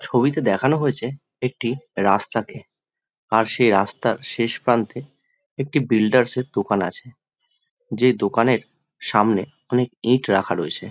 ছবিতে দেখানো হয়েছে একটি রাস্তাকে আর সেই রাস্তার শেষ প্রান্তে একটি বিল্ডার্স এর দোকান আছে যে দোকানের সামনে অনেক ইট রাখা রয়েছে।